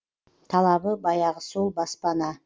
талабы баяғы сол баспана